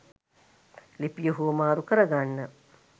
ලිපිය හුවමාරු කරගන්න.